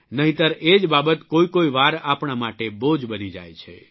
નહિંતર એ જ બાબત કોઇકોઇ વાર આપણા માટે બોજ બની જાય છે